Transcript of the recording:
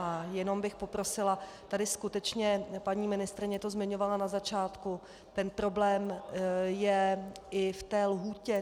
A jenom bych poprosila, tady skutečně paní ministryně to zmiňovala na začátku, ten problém je i v té lhůtě.